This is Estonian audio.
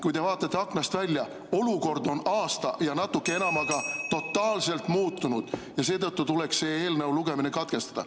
Kui te vaatate aknast välja, siis olukord on aasta ja natuke enamaga totaalselt muutunud ja seetõttu tuleks selle eelnõu lugemine katkestada.